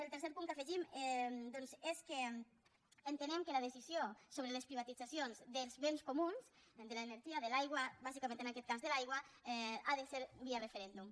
el tercer punt que afegim doncs és que entenem que la decisió sobre les privatitzacions dels béns comuns de l’energia de l’aigua bàsicament en aquest cas de l’aigua ha de ser via referèndum